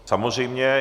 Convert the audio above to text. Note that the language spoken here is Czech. Samozřejmě.